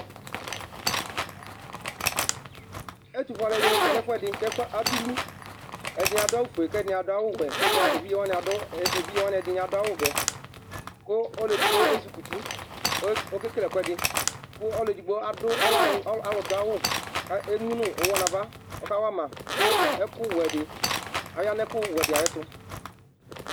Ɛtʋfue alʋɛdini kɔnʋ ɛfʋɛdi kʋ ɛfʋ yɛ adʋlʋ, ɛdɩnɩ adʋ awʋfue kʋ ɛdɩnɩ adʋ awʋwɛ kʋ evidze wanɩ ɔlʋ edigbo adʋ awʋvɛ kʋ ezɩ kɔ uti, ɔkekele ɛkʋɛdɩ kʋ ɔlʋ edigbo ɔlɛ ɔlʋdʋ awʋ kʋ emʋnʋ ʋwɔ nʋ ava kʋ ɔkawama kʋ ɔyanʋ ɛjʋwɛdɩ ayʋ ɛtʋ.